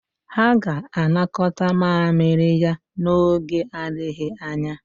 Ha ga-anakọta mamịrị ya n'oge adịghị anya.